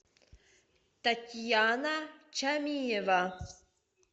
татьяна чамиева